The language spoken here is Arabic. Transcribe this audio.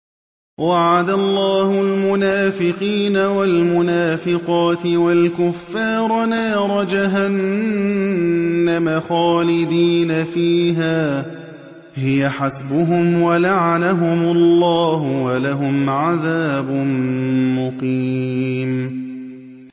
وَعَدَ اللَّهُ الْمُنَافِقِينَ وَالْمُنَافِقَاتِ وَالْكُفَّارَ نَارَ جَهَنَّمَ خَالِدِينَ فِيهَا ۚ هِيَ حَسْبُهُمْ ۚ وَلَعَنَهُمُ اللَّهُ ۖ وَلَهُمْ عَذَابٌ مُّقِيمٌ